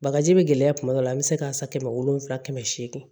Bagaji bɛ gɛlɛya tuma dɔ la an bɛ se k'a san kɛmɛ wolonwula kɛmɛ seegin